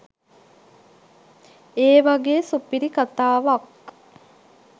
ඒ වගේ සුපිරි කථාවක්